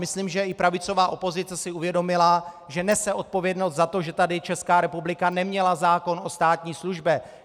Myslím, že i pravicová opozice si uvědomila, že nese odpovědnost za to, že tady Česká republika neměla zákon o státní službě.